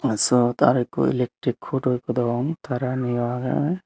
aa syot aro ikko electric huto ikko degong taraniyo agey.